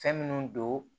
Fɛn minnu don